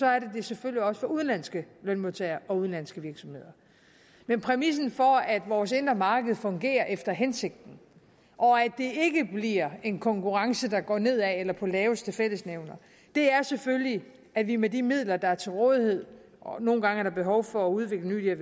er det det selvfølgelig også for udenlandske lønmodtagere og udenlandske virksomheder men præmissen for at vores indre marked fungerer efter hensigten og at det ikke bliver en konkurrence der går nedad eller på laveste fællesnævner er selvfølgelig at vi med de midler der er til rådighed nogle gange er der behov for at udvikle nye